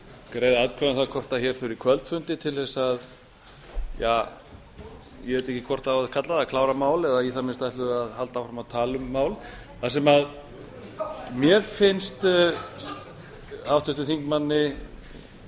greiða atkvæði um það hvort hér þurfi kvöldfundi til þess að ja ég veit ekki hvort á að kalla það klára mál eða í það minnsta ætlum við að halda áfram að tala um mál það sem mér finnst háttvirtur þingmaður